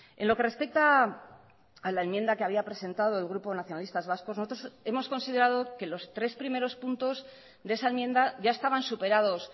en lo que respecta a la enmienda que había presentado el grupo nacionalistas vascos nosotros hemos considerado que los tres primeros puntos de esa enmienda ya estaban superados